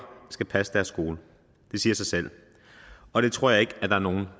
skal passe deres skole det siger sig selv og det tror jeg ikke at der er nogen